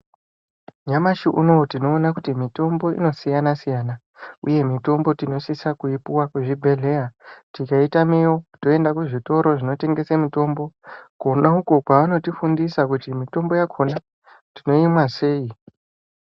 Nyamashi unoo tinoona kutii mitombo inosiyanasiyana uye mitombo tinosise kuipuwa kuzvibhehleya tikaitame yo toenda kuzvitoro zvinotengese mitombo kona uko kwavanotifundisa kuti mitombo yakona tinoimwa sei?